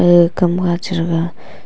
agey kam kha che rega.